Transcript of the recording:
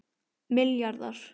milljarðar